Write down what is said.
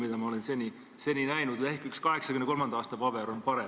Ehk vaid üks 1983. aasta dokument on parem.